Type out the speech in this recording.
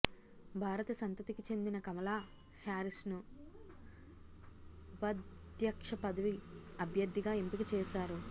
భారత సంతతికి చెందిన కమలా హ్యారిస్ను ఉపాధ్యక్ష పదవి అభ్యర్థిగా ఎంపిక చేశారు